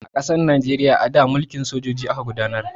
A ƙasar Najeriya a da, mulkin sojoji aka gudanar.